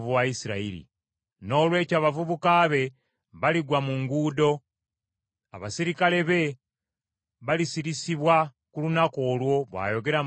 Noolwekyo, abavubuka be baligwa mu nguudo; abaserikale be balisirisibwa ku lunaku olwo,” bw’ayogera Mukama Katonda.